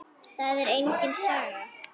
Það er engin saga.